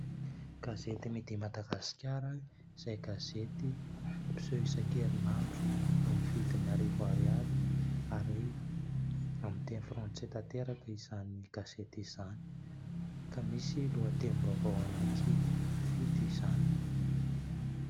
Gazety "midi Madagascar" izay gazety mpiseho isakerin'andro. Amin'ny vidiny arivo ariary ary amin'ny teny frantsay tanteraka izany gazety izany ka misy lohatenim-baovao anaky fito izany.